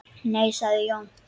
Nei sagði Jón.